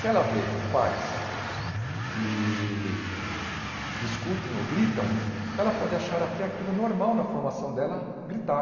Se ela vê pais que discutem ou gritam, ela pode achar até aquilo normal na formação dela, gritar.